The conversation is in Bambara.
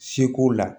Seko la